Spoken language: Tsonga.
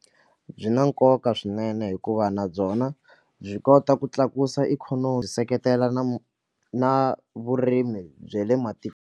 Nyi na nkoka swinene hikuva na byona byi kota ku tlakusa ikhonomi byi seketela na na vurimi bya le .